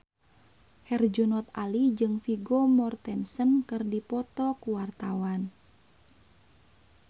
Herjunot Ali jeung Vigo Mortensen keur dipoto ku wartawan